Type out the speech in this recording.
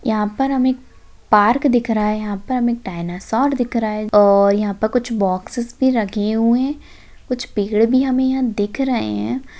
यहा पर हमे एक पार्क दिख रहा है यहा पर हमे एक डायनासोर दिख रहा है और यहा पे कुछ बॉक्सस भी रखे हुए कुछ पेड़ भी हमे यहा दिख रहे है।